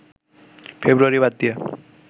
ফেব্রুয়ারি বাদ দিয়ে